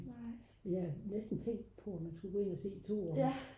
jeg har næsten tænkt på om man skulle gå ind at se 2'eren